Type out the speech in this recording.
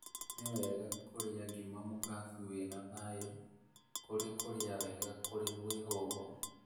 Nĩwega kũrĩa ngima mũkabu wĩna thayũ kũrĩ kũrĩa wega kũrĩ mwĩhũgo